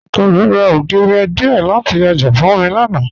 Ọkọ mi ra ogírì díẹ́ lati ọjà fún mi lánà.